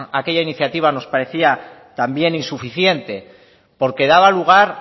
aquella iniciativa nos parecía también insuficiente porque daba lugar